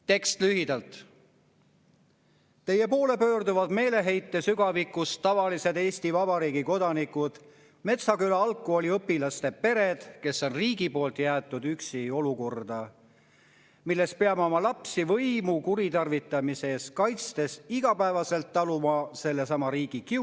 Tekst lühendatult: "Teie poole pöörduvad meeleheite sügavikust tavalised Eesti Vabariigi kodanikud, Metsküla Algkooli õpilaste pered, kes on riigi poolt jäetud üksi olukorda, milles peame oma lapsi võimu kuritarvitamise eest kaitstes igapäevaselt taluma sellesama riigi kiusu.